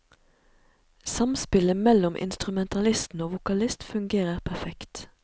Samspillet mellom instrumentalistene og vokalist fungerer perfekt.